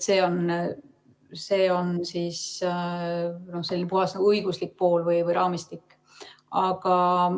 See on siis selline puhas õiguslik pool või raamistik.